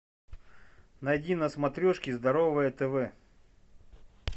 найди на смотрешке здоровое тв